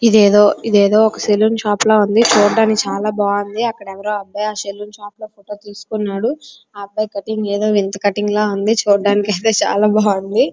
ఇది ఏదో salon shop లాగా ఉంది చూడడానికీ చాలా బాగుంది అక్కడ ఎవరో అబ్బాయి సెలూన్ షాపులో ఫోటో తీసుకున్నారు ఏ అబ్బాయి కట్టింగ్ ఏదో వింత కట్టింగ్ లాగా ఉన్నది చూడడానికి యితే చాలా బాగుంది.